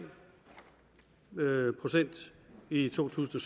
med nul procent i to tusind